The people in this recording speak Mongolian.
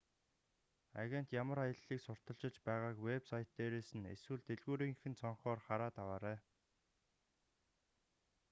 агент ямар аяллыг сурталчилж байгааг вэб сайт дээрээс нь эсвэл дэлгүүрийнх нь цонхоор хараад аваарай